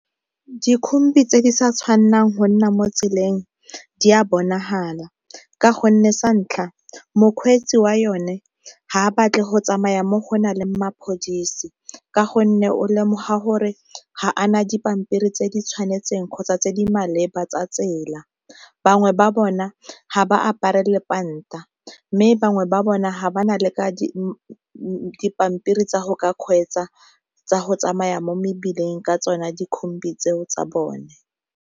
Dikhombi tse di sa tshwanelang go nna mo tseleng di a bonagala ka gonne santlha, mokgweetsi wa yone ga batle go tsamaya mo go na le mapodisi ka gonne o lemoga gore ga ana dipampiri tse di tshwanetseng kgotsa tse di maleba tsa tsela, bangwe ba bona ga ba apare lepanta mme bangwe ba bone ga ba na le ka dipampiri tsa go ka kgweetsa tsa go tsamaya mo mebileng ka tsone dikhobi tseo tsa bone.